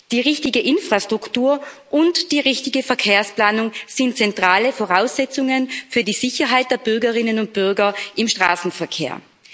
Die richtige Infrastruktur und die richtige Verkehrsplanung sind zentrale Voraussetzungen für die Sicherheit der Bürgerinnen und Bürger im Straßenverkehr.